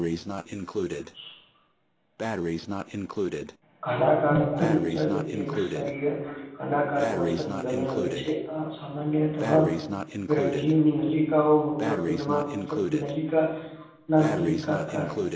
ઘનાકાર એક સ્તરીય ઘનાકાર કોષોનું બનેલ હોય છે અન્ય ગ્રંથિ નલિકાઓ મૂત્રપિંડમાં નલિકા માં નલિકા